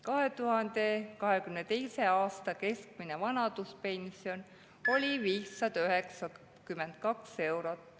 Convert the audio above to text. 2022. aastal oli keskmine vanaduspension 592 eurot.